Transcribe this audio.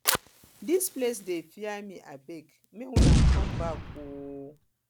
dis place dey fear me abeg make una come back ooo